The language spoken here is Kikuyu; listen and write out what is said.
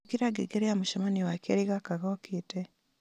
ĩkĩra ngengere ya mũcemanio wa keeri gaka gokĩte